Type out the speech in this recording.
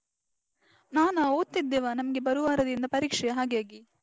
ನಾನಾ ಓದ್ತಿದ್ದೆವಾ, ನಮ್ಗೆ ಬರುವಾರದಿಂದ ಪರೀಕ್ಷೆ ಹಾಗಾಗಿ.